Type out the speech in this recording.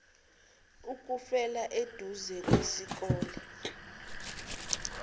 ukufela eduze kwesikole